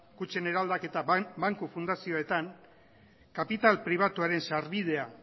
kutxen eraldaketa banku fundazioetan kapital pribatuaren sarbidea